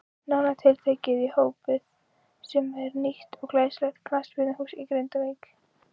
Nánar tiltekið í Hópið sem er nýtt og glæsilegt knattspyrnuhús í Grindavík.